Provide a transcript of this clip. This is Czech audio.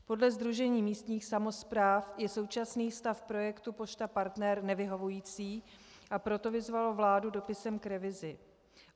Podle Sdružení místních samospráv je současný stav projektu Pošta Partner nevyhovující, a proto vyzvalo vládu dopisem k revizi.